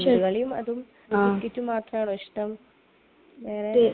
പന്ത് കളിയും അതും ക്രിക്കറ്റും മാത്രമാണോ ഇഷ്ടം? വേറെ...